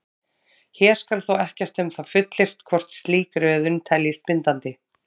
Hér skal þó ekkert um það fullyrt hvort slík röðun teljist bindandi.